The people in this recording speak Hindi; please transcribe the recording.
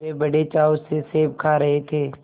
वे बड़े चाव से सेब खा रहे थे